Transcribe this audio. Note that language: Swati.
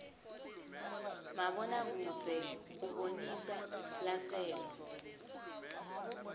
mabona kudze ubonisa lasenttfo